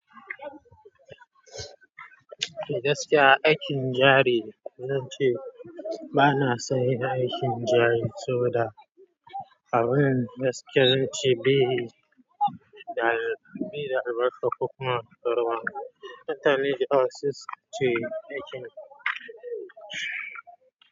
Gaskiya aikin jari zan ce ba na son yin aikin jari saboda abin gaskiya zan ce bai, da albarka ko kuma karuwa. Mutane da yawa me sukan ce aikin.